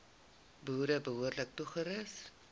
boere behoorlik toerus